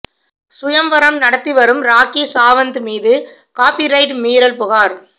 சுயம்வரம் நடத்தி வரும் ராக்கி சாவந்த் மீது காப்பிரைட் மீறல் புகார்